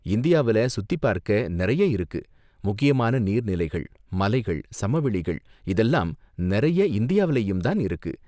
இந்தியாவுல சுத்திப்பார்க்க நிறைய இருக்கு, முக்கியமான நீர்நிலைகள், மலைகள், சமவெளிகள் இதெல்லாம் நிறைய இந்தியாவிலேயும் தான் இருக்கு.